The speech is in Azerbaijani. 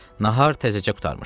Nahar təzəcə qurtarmışdı.